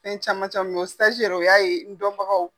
Fɛn caman caman min o saji yɛrɛ o y'a ye n dɔnbagaw.